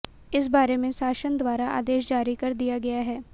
इस बारे में शासन द्वारा आदेश जारी कर दिया गया है